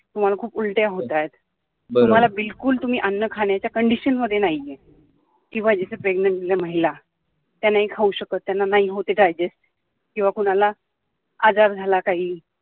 तुम्हाला खूप उलट्या होतायत तुम्हाला बिलकुल तुम्ही अन्न खाण्याच्या condition मध्ये नाहीये किंवा जसं pregnant महिला त्या नाही खाऊ शकत, त्यांना नाही होत digest किंवा कुणाला आजार झाला काही